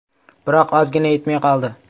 Biroq ozgina yetmay qoldi.